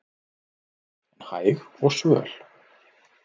en hæg og svöl